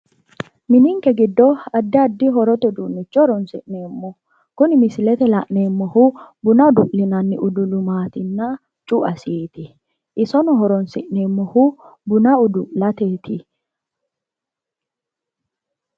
Mininke giddo addi addi horote uduunnicho horonsi'neemmo kuni misilete la'nanneemmohu buna udu'linanni udulumattinna cu"asiiti isono horonsi'neemmohu buna udu'lateeti